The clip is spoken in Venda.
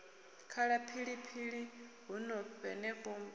khala phiphiḓi huno henefho hombo